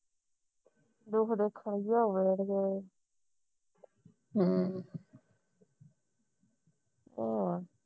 ਦੁੱਖ ਦੇਖਣ ਹਮ ਹੋਰ